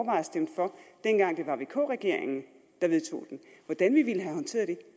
at stemme for dengang det var vk regeringen der vedtog den hvordan vi ville have håndteret det